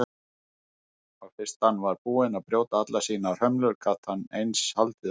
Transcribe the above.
Og fyrst hann var búinn að brjóta allar sínar hömlur gat hann eins haldið áfram.